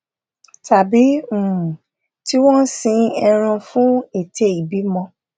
tàbí um tí wón sin ẹran fún ète ìbímọ